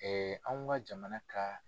anw ka jamana ka